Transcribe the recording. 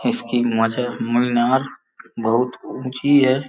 इसकी मज मीनार बहुत ऊंची है।